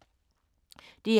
DR2